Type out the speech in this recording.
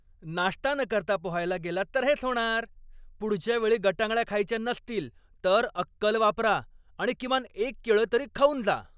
नाश्ता न करता पोहायला गेलात तर हेच होणार. पुढच्या वेळी गटांगळ्या खायच्या नसतील तर अक्कल वापरा आणि किमान एक केळं तरी खाऊन जा.